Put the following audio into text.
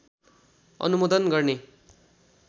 अनुमोदन गर्ने